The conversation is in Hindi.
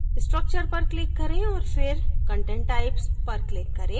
structure पर click करें औऱ फिर content types पर click करें